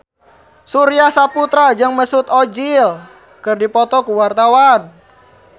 Surya Saputra jeung Mesut Ozil keur dipoto ku wartawan